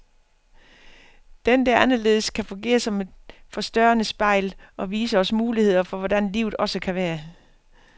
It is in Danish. Den, der er anderledes, kan fungere som et forstørrende spejl, og vise os muligheder for hvordan livet også kan være.